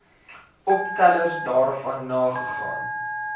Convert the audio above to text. opstellers daarvan nagegaan